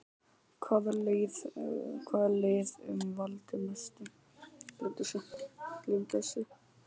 Hvaða lið mun valda mestum vonbrigðum?